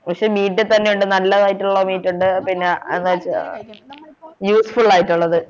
പക്ഷെ meat തന്നെയുണ്ട് നല്ലതായിട്ടുള്ള meat ഉണ്ട് പിന്നെ useful ആയിട്ടുള്ളത്